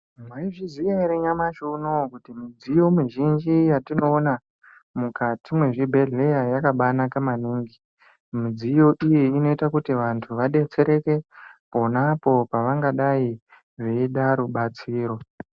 Mwaizviziya ere nyamashi unou, kuti midziyo mizhinji yatinoona mukati mwezvibhehleya yakabaanaka maningi. Midziyo iyi inoita kuti vanthu vadetsereke pona apo pavangadai veida rubatsiro